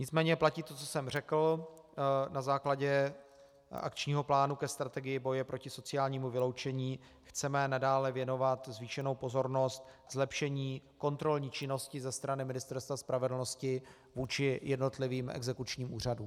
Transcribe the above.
Nicméně platí to, co jsem řekl, na základě akčního plánu ke strategii boje proti sociálnímu vyloučení chceme nadále věnovat zvýšenou pozornost zlepšení kontrolní činnosti ze strany Ministerstva spravedlnosti vůči jednotlivým exekučním úřadům.